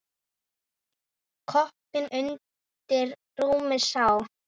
Koppinn undir rúmi sá.